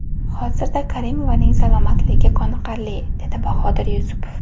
Hozirda Karimovaning salomatligi qoniqarli”, dedi Bahodir Yusupov.